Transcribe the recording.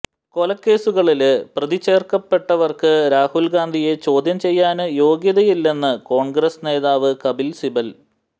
കൊലക്കേസുകളില് പ്രതിചേര്ക്കപ്പെട്ടവര്ക്ക് രാഹുല് ഗാന്ധിയെ ചോദ്യം ചെയ്യാന് യോഗ്യതയില്ലെന്ന് കോണ്ഗ്രസ് നേതാവ് കപില് സിബല്